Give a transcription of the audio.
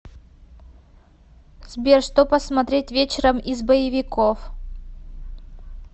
сбер что посмотреть вечером из боевиков